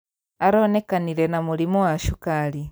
Aronekanire na mũrimũ wa cukari